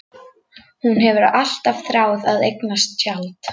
Hún hefur alltaf þráð að eignast tjald.